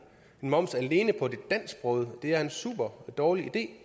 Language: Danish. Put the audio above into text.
moms alene på de dansksprogede er en superdårlig idé